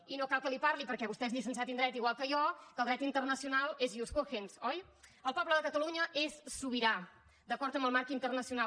i no cal que li parli perquè vostè és llicenciat en dret igual que jo que el dret internacional és ius cogens oi el poble de catalunya és sobirà d’acord amb el marc internacional